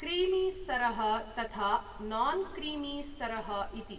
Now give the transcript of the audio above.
क्रीमीस्तरः तथा नान्क्रीमीस्तरः इति।